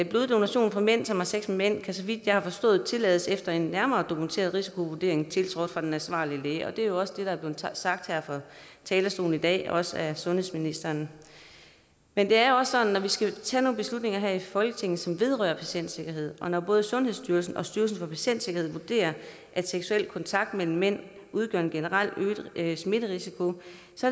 bloddonation fra mænd som har sex med mænd kan så vidt jeg har forstået tillades efter en nærmere dokumenteret risikovurdering tiltrådt af den ansvarlige læge er det er også det der blev sagt her fra talerstolen i dag også af sundhedsministeren men det er også sådan at vi skal tage nogle beslutninger her i folketinget som vedrører patientsikkerhed og når både sundhedsstyrelsen og styrelsen for patientsikkerhed vurderer at seksuel kontakt mellem mænd udgør en generelt øget smitterisiko